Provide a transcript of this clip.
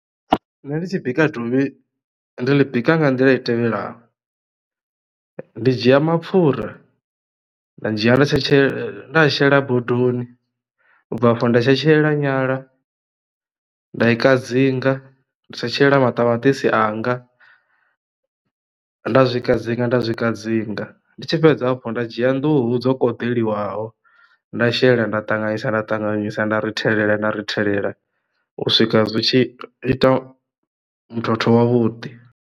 Nṋe ndi tshi bika dovhi ndi ḽi bika nga nḓila i tevhelaho ndi dzhia mapfura nda dzhia na tshe tshe nda a shela bodoni ubva afho nda tshetshelela nyala nda i ka dzinga, nda tshetshelela maṱamaṱisi anga nda zwi kadzinga nda zwi kadzinga ndi tshi fhedza afho nda dzhia nḓuhu dzo kunḓelwaho nda shela nda ṱanganyisa nda ṱanganyisa nda rithelela nda rithelela u swika zwi tshi ita muthotho wavhuḓi.